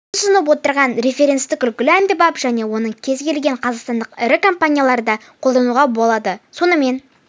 біз ұсынып отырған референстік үлгілер әмбебап және оны кез келген қазақстандық ірі компанияда қолдануға болады сонымен